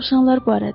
Dovşanlar barədə.